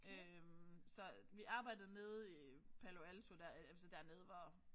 Øh så vi arbejdede nede i Palo Alto der altså dernede hvor